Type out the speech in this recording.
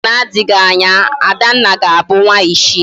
Na Oge na adighi Anya, Adanna ga Abu nwa ichie